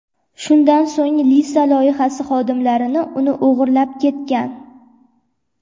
Shundan so‘ng Lisa loyihasi xodimlarini uni o‘g‘irlab ketgan.